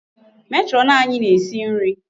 Matron anyị na-esi nri.